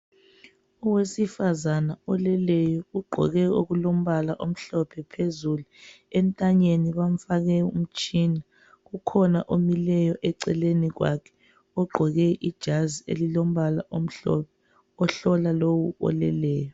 Owesifazane oleleyo , ugqoke okulombala omhlophe phezulu , entanyeni bamfake umtshina, kukhona omileyo eceleni kwakhe ogqoke ijazi elilombala omhlophe ohlola lowu oleleyo